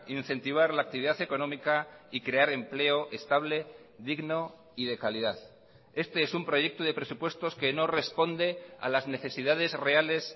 incentivar la actividad económica y crear empleo estable digno y de calidad este es un proyecto de presupuestos que no responde a las necesidades reales